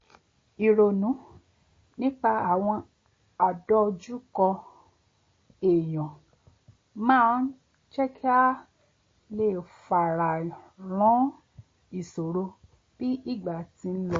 ìronú nípa àwọn àdọjúkọ ènìyàn máa ń jẹ́ kí a lè fayàrán ìṣòro bí ìgbà ti ń lọ